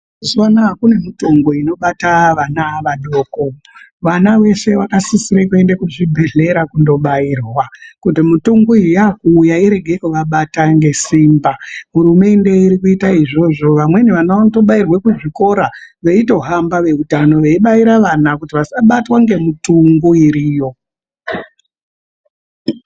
Mazuva anaya kune mitungu inobata vana vadoko vana vese vakasisire kuende kuzvibhedhlera kunobairwa. Kuti mitungu iyi yakuuya irege kubata ngesimba. Hurumende iri kuita izvozvo vamweni vana vanotobairwa kuzvikora veitohamba veutano veibaira vana kuti vasabatwa ngemitungu iriyo.